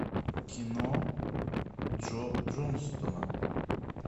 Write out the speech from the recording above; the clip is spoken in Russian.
кино джо джонстона